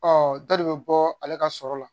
Ɔ dɔ de bɛ bɔ ale ka sɔrɔ la